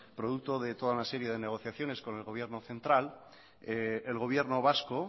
producto de toda una serie de negociaciones con el gobierno central el gobierno vasco